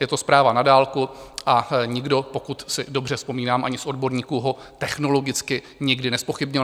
Je to zpráva na dálku a nikdo, pokud si dobře vzpomínám, ani z odborníků ho technologicky nikdy nezpochybnil.